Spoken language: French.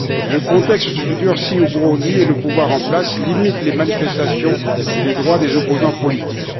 Le contexte se durcit au Burundi et le pouvoir en place limite les manifestations et les droits des opposants politiques.